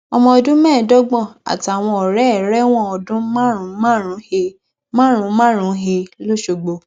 ọmọ ọdún mẹẹẹdógún àtàwọn ọrẹ ẹ rẹwọn ọdún márùnúnmárùnún he márùnúnmárùnún he loṣogbo